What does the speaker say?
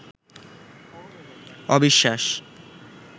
অবিশ্বাস